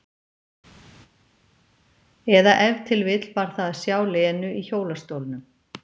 Eða ef til vill var það að sjá Lenu í hjólastólnum.